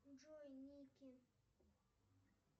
джой никки